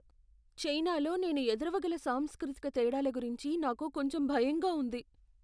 చైనాలో నేను ఎదురవగల సాంస్కృతిక తేడాల గురించి నాకు కొంచెం భయంగా ఉంది.